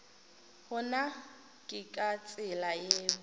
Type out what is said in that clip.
gona ke ka tsela yeo